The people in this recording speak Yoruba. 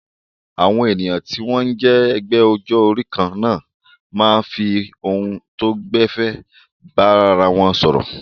Àwọn ènìyàn tí wọ́n jẹ́ ẹgbẹ́ ọjọ́ orí kan náà máa ń fi ohun tó gbẹ̀fẹ̀ bára wọn sọ̀rọ̀.